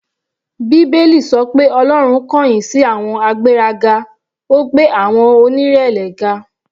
Bíbélì sọ pé Ọlọ́run kọ̀yìn sí àwọn agbéraga, ó gbé àwọn onírẹ̀lẹ̀ ga.